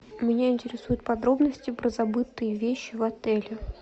меня интересуют подробности про забытые вещи в отеле